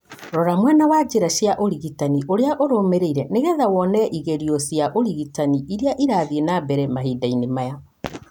Rora mwena wa njĩra cia ũrigitani ũrĩa ũrũmĩrĩire nĩgetha wone igerio cia ũrigitani iria ĩrathiĩ na mbere Mahinda-inĩ maya.